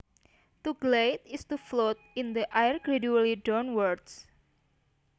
To glide is to float in the air gradually downwards